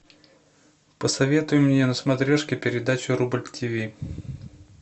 посоветуй мне на смотрешке передачу рубль ти ви